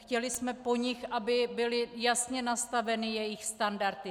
Chtěli jsme po nich, aby byly jasně nastaveny jejich standardy.